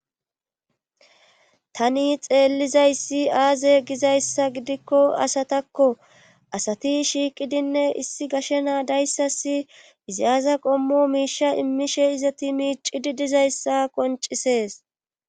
Tani xeellizayssi aaze gizayssa gidikko asatakko asati shiiqidinne issi gashenaa dayssasi iziyaza qommo miisha immishe izati miicidi dizayssa qoncisees.